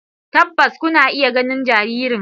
Tabbas kuna iya ganin jaririn.